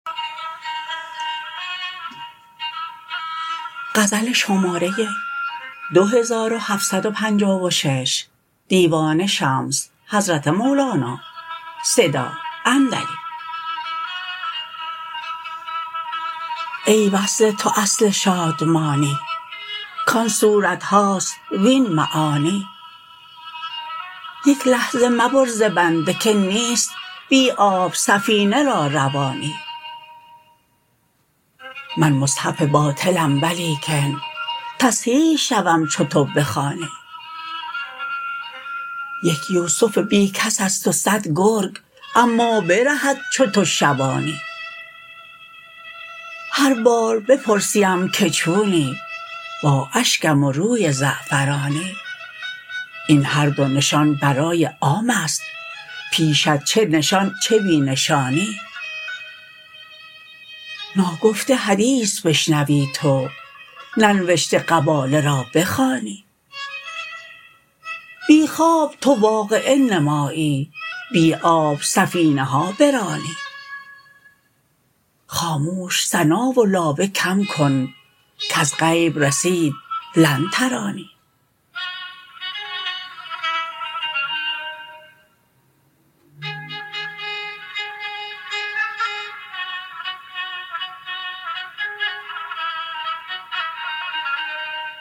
ای وصل تو اصل شادمانی کان صورت هاست وین معانی یک لحظه مبر ز بنده که نیست بی آب سفینه را روانی من مصحف باطلم ولیکن تصحیح شوم چو تو بخوانی یک یوسف بی کس است و صد گرگ اما برهد چو تو شبانی هر بار بپرسیم که چونی با اشکم و روی زعفرانی این هر دو نشان برای عام است پیشت چه نشان چه بی نشانی ناگفته حدیث بشنوی تو ننوشته قباله را بخوانی بی خواب تو واقعه نمایی بی آب سفینه ها برانی خاموش ثنا و لابه کم کن کز غیب رسید لن ترانی